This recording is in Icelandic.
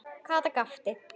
Kata gapti.